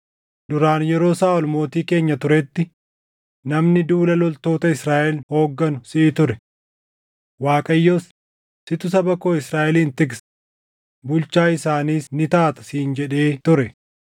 Duraan yeroo Saaʼol mootii keenya turetti, namni duula loltoota Israaʼel hoogganu siʼi ture. Waaqayyos, ‘Situ saba koo Israaʼelin tiksa; bulchaa isaaniis ni taata’ siin jedhee ture.”